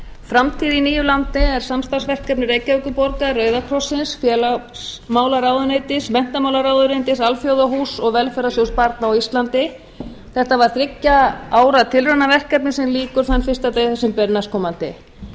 framtíð í nýju landi er samstarfsverkefni reykjavíkurborgar rauða krossins félagsmálaráðuneytis menntamálaráðuneytis alþjóðahúss og velferðarsjóðs barna á íslandi þetta var þriggja ára tilraunaverkefni sem lýkur þann fyrsta desember næstkomandi